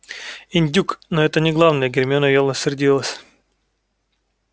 индюк но это не главное гермиона явно сердилась